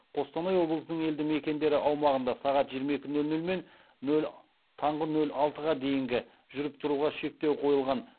қостанай облысының елді мекендері аумағында сағатжиырма екі нөл нөл мен мен таңғы нөл алтыға дейінгі жүріп тұруға шектеу қойылған